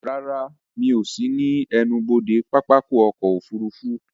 Rárá, Mi ò sí ní ẹnubodè pápákọ̀ ọ̀kọ òfurufú